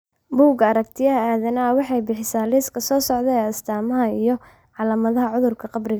Buugga Aragtiyaha Aadanaha waxay bixisaa liiska soo socda ee astamaha iyo calaamadaha cudurka qabriga.